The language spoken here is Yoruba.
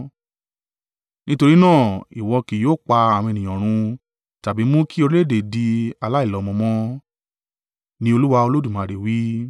nítorí náà ìwọ kì yóò pa àwọn ènìyàn run tàbí mú kì orílẹ̀-èdè di aláìlọ́mọ mọ́, ni Olúwa Olódùmarè wí.